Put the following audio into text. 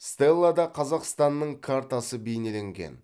стеллада қазақстанның картасы бейнеленген